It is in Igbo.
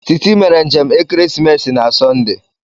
Titi mere njem ekeresimesi na Sọnde.